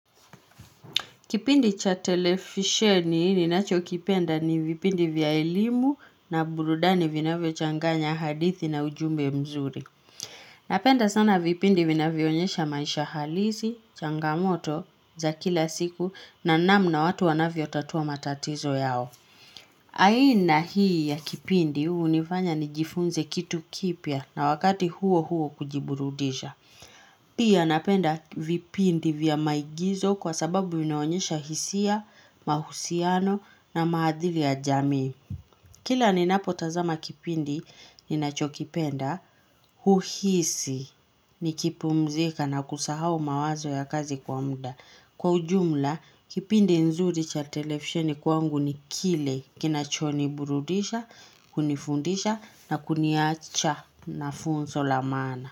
Kipindi cha televisheni ninacho kipenda ni vipindi vya elimu na burudani vinavyo changanya hadithi na ujumbe mzuri. Napenda sana vipindi vinavyo onyesha maisha halisi, changamoto za kila siku na namna watu wanavyo tatua matatizo yao. Aina hii ya kipindi hunifanya nijifunze kitu kipya na wakati huo huo kujiburudisha. Pia napenda vipindi vya maigizo kwa sababu vinaonyesha hisia, mahusiano na mahadhiri ya jamii. Kila ninapo tazama kipindi, ninacho kipenda, huhisi nikipumzika na kusahao mawazo ya kazi kwa muda. Kwa ujumla, kipindi nzuri cha televisheni kwangu ni kile kinacho niburudisha, kunifundisha na kuniacha na funzo la maana.